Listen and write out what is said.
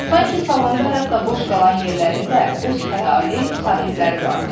Sanki salonda hətta boş qalan yerlərinin də öz xəyali sahibləri vardı.